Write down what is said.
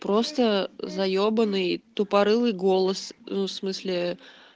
просто заебанный тупорылый голос ну в смысле